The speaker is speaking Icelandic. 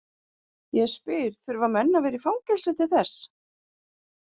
Ég spyr, þurfa menn að vera í fangelsi til þess?